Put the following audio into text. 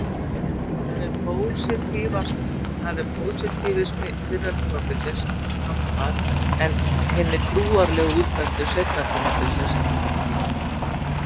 Þar er pósitífisma fyrra tímabilsins hampað en hinni trúarlegu útfærslu seinna tímabilsins hafnað.